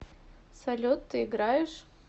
салют ты играешь